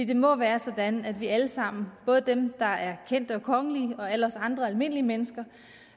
det må være sådan at vi alle sammen både dem der er kendte og kongelige og alle os andre almindelige mennesker